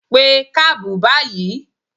Pé kábù báyìí!